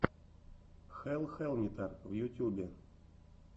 хелл хэллнитер в ютюбе